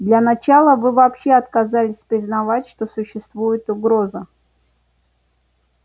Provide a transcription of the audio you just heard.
для начала вы вообще отказались признать что существует угроза